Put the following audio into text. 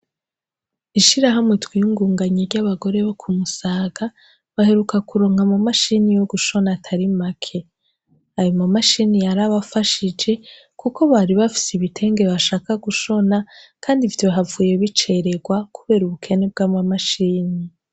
Ishirahamwe twiyungunganhe ry'abagore bo kumusaga, baheruka kuronka ama mashini yo gushona atari make, ayo ma mashini yarabafashije kuko baheruka kuronka ibitenge vyogushona, kandi vyohavuye bicererwa kubera ubukene bw'ama mashini.